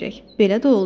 Belə də oldu.